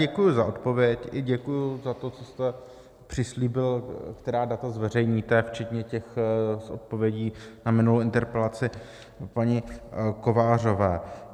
Děkuji za odpověď i děkuji za to, co jste přislíbil, která data zveřejníte včetně těch s odpovědí na minulou interpelaci paní Kovářové.